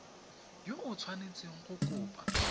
yo o tshwanetseng go kopa